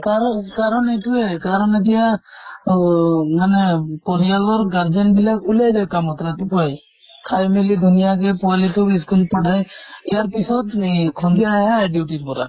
কাৰণ কাৰণ এইতোয়ে, কাৰণ এতিয়া অহ মানে পৰিয়ালৰ গাৰ্জেন বিলাক ওলাই যায় কামত ৰাতিপুৱাই । খাই মেলি ধুনীয়াকে পোৱালী টোক school পঠাই। ইয়াৰ পিছত এই সন্ধিয়াহে আহে duty ৰ পৰা।